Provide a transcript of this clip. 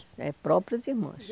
é, próprias irmãs.